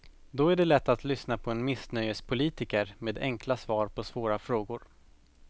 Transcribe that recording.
Då är det lätt att lyssna på en missnöjespolitiker med enkla svar på svåra frågor.